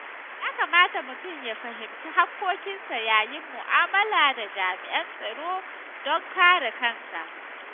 Ya kamata mutum ya fahimci haƙƙoƙinsa yayin mu'amala da jami’an tsaro don kare kansa.